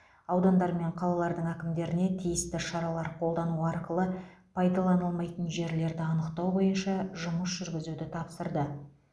аудандар мен қалалардың әкімдеріне тиісті шаралар қолдану арқылы пайдаланылмайтын жерлерді анықтау бойынша жұмыс жүргізуді тапсырды